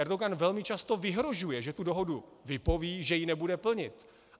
Erdogan velmi často vyhrožuje, že tu dohodu vypoví, že ji nebude plnit.